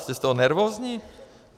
Jste z toho nervózní?